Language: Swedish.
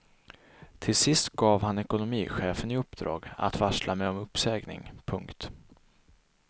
Till sist gav han ekonomichefen i uppdrag att varsla mig om uppsägning. punkt